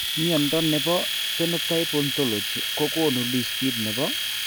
Mnyondo nebo Phenotype Ontology kogonu listit nebo